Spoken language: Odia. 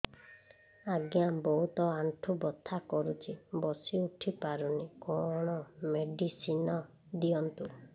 ଆଜ୍ଞା ବହୁତ ଆଣ୍ଠୁ ବଥା କରୁଛି ବସି ଉଠି ପାରୁନି କଣ ମେଡ଼ିସିନ ଦିଅନ୍ତୁ